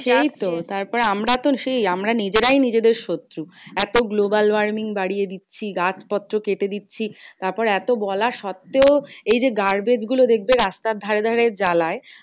সেইতো তারপর আমরা তো সেই আমরা নিজেরাই নিজেদের শত্রু। এত global warming বাড়িয়ে দিচ্ছি। গাছ পত্র কেটে দিচ্ছি। তারপর এত বলার সত্বেও এইযে garbage গুলো দেখবে রাস্তার ধারে ধারে জ্বালায়